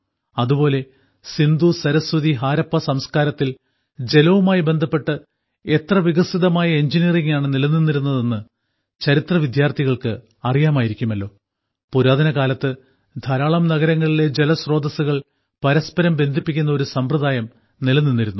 അതുപോലെ സിന്ധു സരസ്വതി ഹാരപ്പ സംസ്കാരത്തിൽ ജലവുമായി ബന്ധപ്പെട്ട് എത്ര വികസിതമായ എഞ്ചിനീയറിംഗാണ് നിലനിന്നിരുന്നതെന്ന് ചരിത്ര വിദ്യാർത്ഥികൾക്ക് അറിയാമായിരിക്കുമല്ലോ പുരാതനകാലത്ത് ധാരാളം നഗരങ്ങളിലെ ജലസ്രോതസ്സുകൾ പരസ്പരം ബന്ധിപ്പിക്കുന്ന ഒരു സമ്പ്രദായം നിലനിന്നിരുന്നു